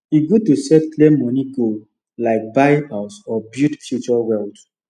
e good to set clear money goal like buy house or build future wealth